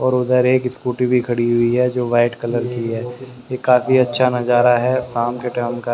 और उधर एक स्कूटी भी खड़ी हुई है जो वाइट कलर की है ये काफी अच्छा नजारा है शाम के टाइम का--